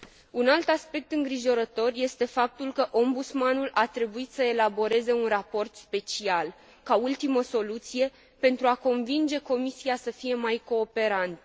Un alt aspect îngrijorător este faptul că Ombudsmanul a trebuit să elaboreze un raport special ca ultimă soluție pentru a convinge Comisia să fie mai cooperantă.